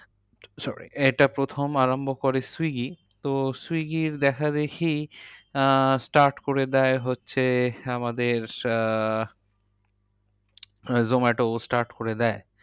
sorry এটা প্রথম আরম্ভ করে swiggy তো swiggy দেখাদেখি আহ start করে দেয় হচ্ছে আমাদের আহ zomato start করে দেয়।